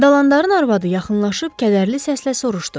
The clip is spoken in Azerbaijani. Dalandarın arvadı yaxınlaşıb kədərli səslə soruşdu: